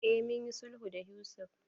Eh mun yi sulhu da Yusuf.